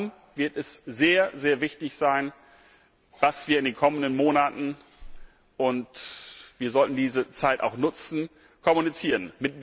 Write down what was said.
Darum wird es sehr wichtig sein, dass wir in den kommenden Monaten und wir sollten diese Zeit auch nutzen kommunizieren.